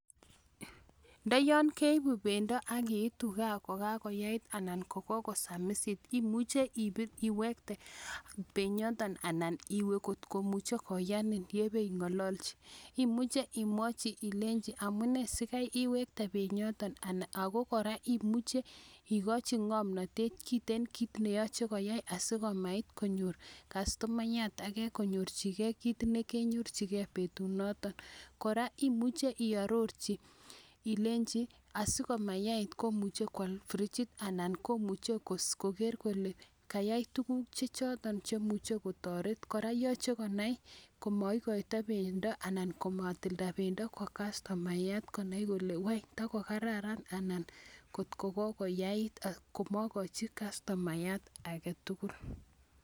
Nda yan keipu pendo ak iitu gaa ko kakoyait anan koko samisit imuchi iwekte penyoton anan iwe kot komuchi koyanin ye kepi ng'alalchi. Imuchi imwachi ilenchi amu nee si kai wekte penyoton ako kora imuchi ikachi ng'amnatet eng' kiit ne yache koyai asiko mait konyor kastomayat age , konyorchigei kiit ne kenyorchigei petunoton. Kora imuchi iarorchi ilenchi asiko mayait komuchi koal frijit anan ko muchi koker kole kayai tuguk che choton che muche kotaret. Kora yache konai komaikaita pendo anan ko matilda pendo ko kastomayat konai kole tako kararan anan kot ko kokoyait komakachi kastomayat age tugul.